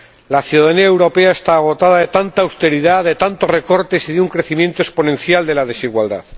La ciudadanía europea está agotada de tanta austeridad, de tantos recortes y de un crecimiento exponencial de la desigualdad.